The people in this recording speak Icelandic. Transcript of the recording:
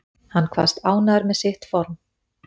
Hann kvaðst ánægður með sitt form